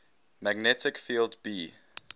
magnetic field b